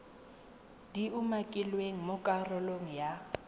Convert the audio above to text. di umakilweng mo karolong ya